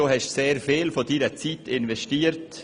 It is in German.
Du hast sehr viel von deiner Zeit investiert.